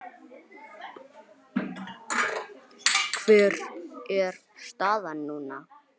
Hver er staðan núna?